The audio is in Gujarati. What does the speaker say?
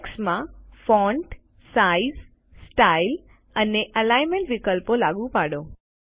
ટેક્સ્ટમાં ફોન્ટ સાઇઝ સ્ટાઇલ અને એલિગ્નમેન્ટ વિકલ્પો લાગુ પાડો